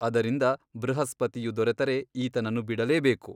ಅದರಿಂದ ಬೃಹಸ್ಪತಿಯು ದೊರೆತರೆ ಈತನನ್ನು ಬಿಡಲೇಬೇಕು.